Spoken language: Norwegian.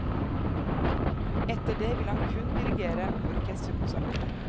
Etter det vil han kun dirigere orkesterkonserter.